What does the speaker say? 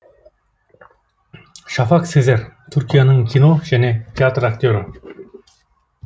шафак сезер түркияның кино және театр актері